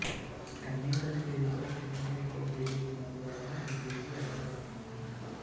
కన్నేపల్లి పేరుతో ఒకటి కంటే ఎక్కువ పేజీలున్నందు వలన ఈ పేజీ అవసరమైంది